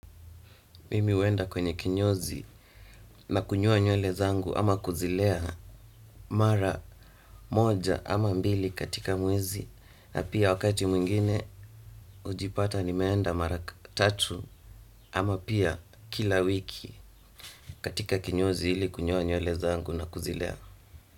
Mimi huenda kwenye kinyozi na kunyoa nywele zangu ama kuzilea mara moja ama mbili katika mwezi na pia wakati mwingine. Hujipata nimeenda mara tatu ama pia kila wiki katika kinyozi ili kunyoa nywele zangu na kuzilea.